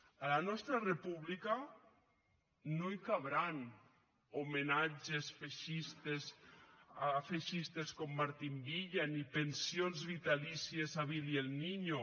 a la nostra república no hi cabran homenatges feixistes a feixistes com martín villa ni pensions vitalícies a billy el niño